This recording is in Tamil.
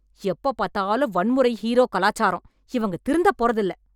எப்ப பாத்தாலும் வன்முறை ஹீரோ கலாச்சாரம். இவங்க திருந்த போறதில்ல‌